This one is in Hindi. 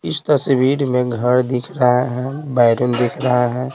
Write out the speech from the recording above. इस तस्वीर में घर दिख रहे हैं बैडरूम दिख रहे हैं।